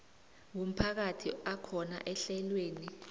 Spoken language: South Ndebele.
womphakathi akhona ehlelweni